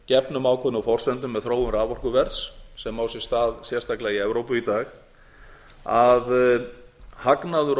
gefnum ákveðnum forsendum með þróun raforkuverðs sem á sér stað sérstaklega í evrópu í dag að hagnaður og